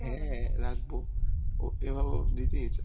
হ্যা রাখব